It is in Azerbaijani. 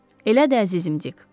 Elədir, əzizim Dik.